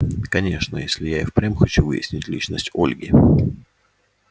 конечно если я и впрямь хочу выяснить личность ольги